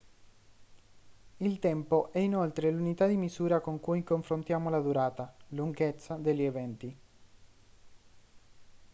il tempo è inoltre l'unità di misura con cui confrontiamo la durata lunghezza degli eventi